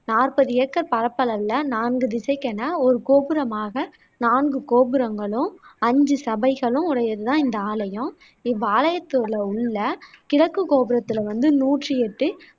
நாற்பது ஏக்கர் பரப்பளவில, நான்கு திசைக்கென ஒரு கோபுரமாக நான்கு கோபுரங்களும், அஞ்சு சபைகளும் உடையது தான் இந்த ஆலயம். இவ்வாலயத்தில உள்ள கிழக்கு கோபுரத்தில வந்து நூற்றியெட்டு